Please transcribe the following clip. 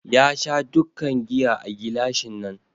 Ya Sha dukkan giya a gilashin nan